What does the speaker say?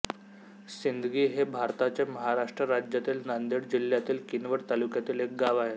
सिंदगी हे भारताच्या महाराष्ट्र राज्यातील नांदेड जिल्ह्यातील किनवट तालुक्यातील एक गाव आहे